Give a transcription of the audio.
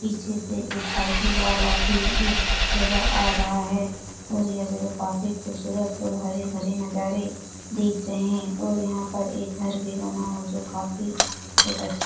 पीछे से एक साइकिल वाला भी इस जगह आ रहा है और यह जगह काफी खूबसूरत और हरे भरे नजारे देख रहे हैं यहां पर एक घर भी बना जो काफी बहुत अच्छा --